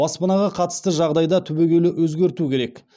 баспанаға қатысты жағдайда түбегейлі өзгерту керек